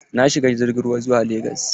Na shiga jirgin ruwa zuwa legas.